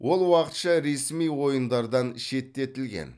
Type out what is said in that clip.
ол уақытша ресми ойындардан шеттетілген